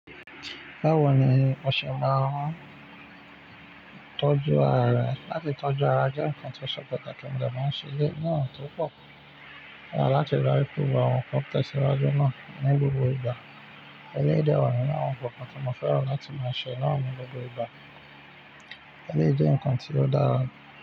Báwo ni o ṣe máa ń tọ́jú ara rẹ láti tọ́jú ara jẹ́ nǹkan tó ṣọpọ̀ pẹ̀lú kí mo dà bá ń ṣe lé ní ọ̀tọ̀ọ̀tọ̀. Ó dára láti darí pẹ̀lú àwọn nǹkan tó ti ṣe lájú náà ní gbogbo ìgbà. Ẹleyi dé wa ninu àwọn nǹkan tí mo fẹ́ràn láti máa ṣe náà ní gbogbo ìgbà. Ẹlèyi jé nǹkan tí ó dára.